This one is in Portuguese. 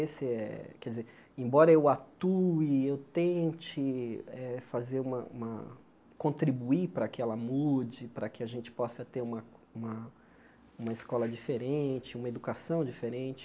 Esse é quer dizer embora eu atue, eu tente eh fazer uma uma contribuir para que ela mude, para que a gente possa ter uma uma uma escola diferente, uma educação diferente,